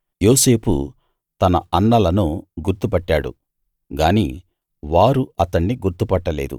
యోసేపు తన అన్నలను గుర్తు పట్టాడు గాని వారు అతణ్ణి గుర్తు పట్టలేదు